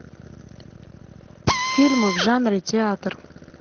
фильмы в жанре театр